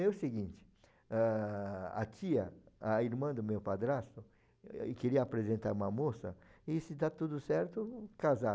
É o seguinte, ah a tia, a irmã do meu padrasto, queria apresentar uma moça e se dá tudo certo, casar.